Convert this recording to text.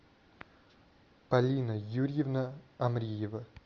полина юрьевна амриева